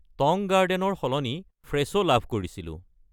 Tong garden ৰ সলনি ফ্ৰেছো লাভ কৰিছিলোঁ।